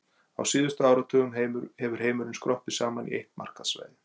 Á síðustu áratugum hefur heimurinn skroppið saman í eitt markaðssvæði.